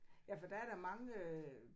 Ja for der er da mange øh